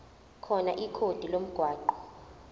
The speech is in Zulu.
khona ikhodi lomgwaqo